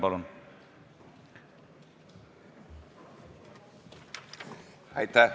Palun!